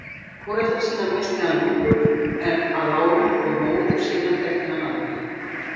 Foreldra sína missti hann ungur að árum og móður sína þekkti hann aldrei.